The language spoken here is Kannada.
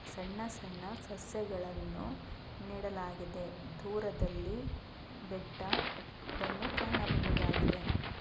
ಸಣ್ಣ ಸಣ್ಣ ಸಸ್ಯಗಳನ್ನು ನೆಡಲಾಗಿದೆ ದೂರದಲ್ಲಿ ಬೆಟ್ಟವನ್ನು ಕಾಣಬಹುದಾಗಿದೆ.